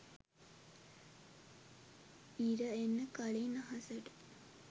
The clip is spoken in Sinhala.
ඉර එන්න කලින් අහසට